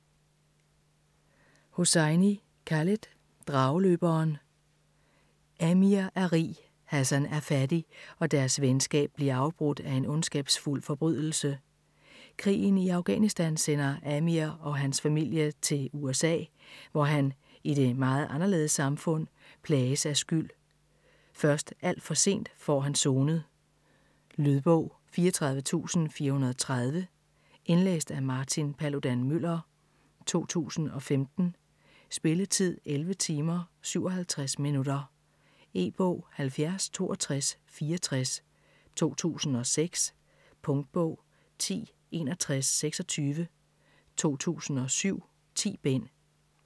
Hosseini, Khaled: Drageløberen Amir er rig, Hassan er fattig, og deres venskab bliver afbrudt af en ondskabsfuld forbrydelse. Krigen i Afghanistan sender Amir og hans familie til USA, hvor han - i det meget anderledes samfund - plages af skyld. Først alt for sent får han sonet. Lydbog 34430 Indlæst af Martin Paludan-Müller, 2005. Spilletid: 11 timer, 57 minutter. E-bog 706264 2006. Punktbog 106126 2007. 10 bind.